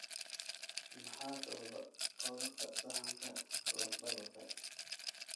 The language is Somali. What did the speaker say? Maxaa sababa cudurka saxanka lafdabarka?